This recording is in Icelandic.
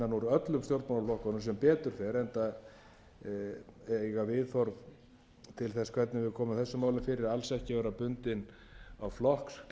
öllum stjórnmálaflokkunum sem betur fer enda eiga viðhorf til þess hvernig við komum þessum málum fyrir alls ekki að vera bundin á flokksklafa enda leyfa